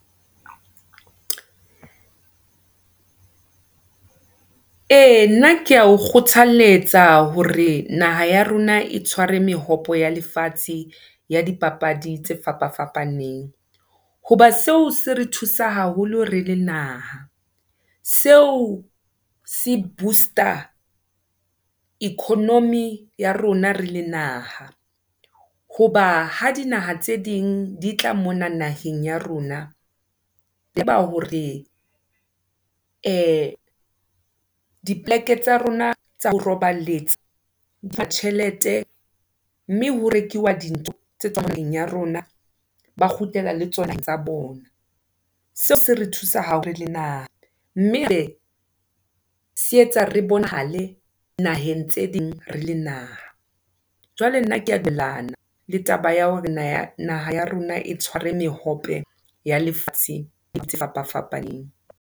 E nna keya o kgothaletsa hore, naha ya rona e tshware mehope ya lefatshe, ya di papadi tse fapa fapaneng, hoba seo se re thusa haholo re le naha. Seo se booster economy ya rona rele naha, hoba ha dinaha tse ding, di tla mona naheng ya rona, tseba hore, e dipoleke tsa rona, tsa ho roballetsa, di tjhelete, mme ho rekiwa dintho tse tswang naheng ya rona, ba kgutlela le tsona tsa bona. Seo se re thusa haholo re le naha, mme setsa hore re bonahale, naheng tse ding rele naha. Jwale nna keya dumellana, le taba ya hore na, naha ya rona etshware mehope ya lefatshe, ya naha tse fapa-fapaneng.